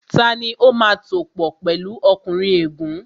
Tani ó máa tòpò pẹ̀lu ọkùnrin ègún?